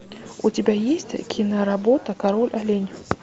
у тебя есть киноработа король олень